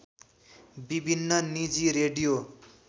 विभिन्न निजी रेडियो